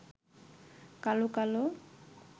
কালো কালো